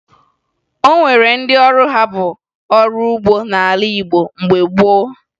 O nwere ndị ọrụ ha bụ ọrụ ugbo n'ala Igbo mgbe gboo